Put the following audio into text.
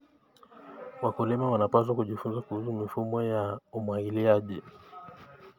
Wakulima wanapaswa kujifunza kuhusu mifumo ya umwagiliaji.